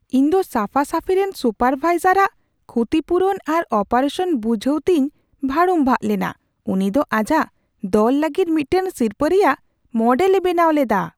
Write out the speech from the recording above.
ᱤᱧ ᱫᱚ ᱥᱟᱯᱷᱟᱼᱥᱟᱷᱤ ᱨᱮᱱ ᱥᱩᱯᱟᱨᱼᱵᱷᱟᱭᱡᱟᱨ ᱟᱜ ᱠᱷᱩᱛᱤᱯᱩᱨᱩᱱ ᱟᱨ ᱚᱯᱟᱨᱮᱥᱚᱱ ᱵᱩᱡᱷᱟᱹᱣᱛᱮᱧ ᱵᱷᱟᱲᱩᱢᱵᱷᱟᱜ ᱞᱮᱱᱟ ᱾ ᱩᱱᱤ ᱫᱚ ᱟᱡᱟᱜ ᱫᱚᱞ ᱞᱟᱹᱜᱤᱫ ᱢᱤᱫᱴᱟᱝ ᱥᱤᱨᱯᱟᱹ ᱨᱮᱭᱟᱜ ᱢᱚᱰᱮᱞ ᱮ ᱵᱮᱱᱟᱣ ᱞᱮᱫᱟ ᱾